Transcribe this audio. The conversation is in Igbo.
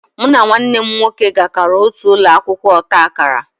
Mụ na nwanne m nwoke gakoro otu ụlọ akwụkwọ ọta akara